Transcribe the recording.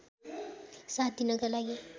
साथ दिनका लागि